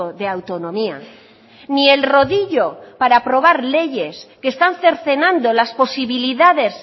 de autonomía ni el rodillo para aprobar leyes que están cercenando las posibilidades